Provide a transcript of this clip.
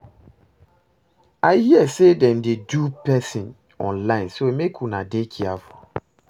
I hear say dem dey dupe person online so make una dey careful